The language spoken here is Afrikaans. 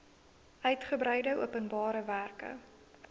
uigebreide openbare werke